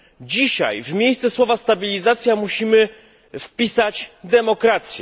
Dzisiaj w miejsce słowa stabilizacja musimy wpisać demokracja.